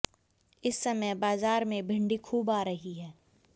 इस समय बाजार में भिंडी खूब आ रही है